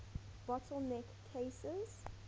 bottle neck cases